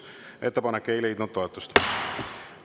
Ettepanek ei leidnud toetust.